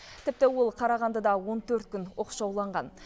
тіпті ол қарағандыда он төрт күн оқшауланған